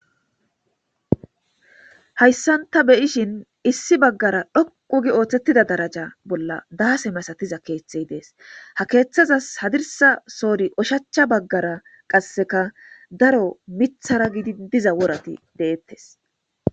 hayssanta beyishin issi baggara dhoqu gi ooththettida daraja bolla daase masatiza keeththey dees ha keeththazas hadirsa soori oshachcha baggara qasseka daro mithara gidi diza worati deettes